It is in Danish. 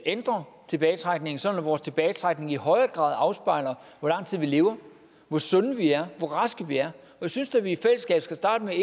ændre tilbagetrækningen sådan at vores tilbagetrækning i højere grad afspejler hvor lang tid vi lever hvor sunde vi er hvor raske vi er jeg synes da vi i fællesskab skal starte med